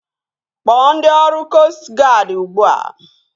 Kpọọ ndị ọrụ koostụ guadi ugbua!